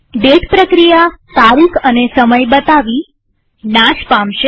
date પ્રક્રિયા તારીખ અને સમય બતાવી અને નાશ પામશે